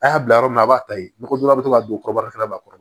A y'a bila yɔrɔ min na a b'a ta yen nɔgɔ bɛ to ka don kɔrɔbɔrɔ fana b'a kɔrɔ